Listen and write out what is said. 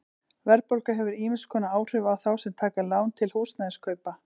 Verðbólga hefur ýmiss konar áhrif á þá sem taka lán til húsnæðiskaupa.